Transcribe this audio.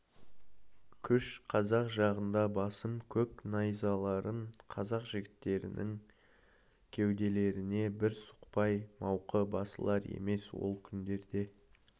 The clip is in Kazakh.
күш қазақ жағында басым көк найзаларын қазақ жігіттерінің кеуделеріне бір сұқпай мауқы басылар емес ол күндерде